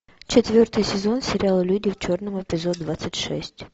четвертый сезон сериала люди в черном эпизод двадцать шесть